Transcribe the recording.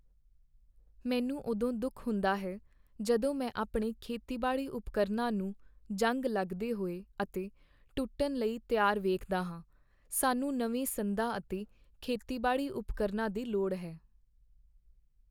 ਮੈਨੂੰ ਉਦੋਂ ਦੁੱਖ ਹੁੰਦਾ ਹੈ ਜਦੋਂ ਮੈਂ ਆਪਣੇ ਖੇਤੀਬਾੜੀ ਉਪਕਰਨਾਂ ਨੂੰ ਜੰਗ ਲੱਗਦੇ ਹੋਏ ਅਤੇ ਟੁੱਟਣ ਲਈ ਤਿਆਰ ਵੇਖਦਾ ਹਾਂ। ਸਾਨੂੰ ਨਵੇਂ ਸੰਦਾਂ ਅਤੇ ਖੇਤੀਬਾੜੀ ਉਪਕਰਨਾਂ* ਦੀ ਲੋੜ ਹੈ।